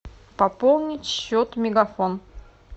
пополнить счет мегафон